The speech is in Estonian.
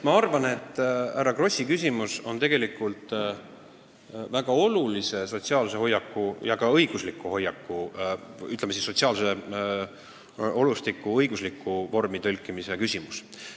Ma arvan, et härra Krossi küsimus on tegelikult väga olulise sotsiaalse ja ka õigusliku hoiaku küsimus või võib ka öelda, et sotsiaalse olustiku õiguslikku vormi tõlkimise küsimus.